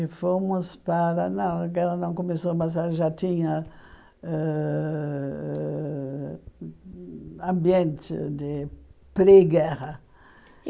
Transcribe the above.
E fomos para... Não, a guerra não começou, mas a já tinha ãh ambiente de pré-guerra.